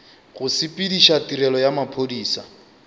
go sepediša tirelo ya maphodisa